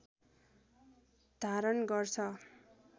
धारण गर्छ